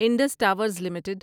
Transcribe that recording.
Indus Towers limited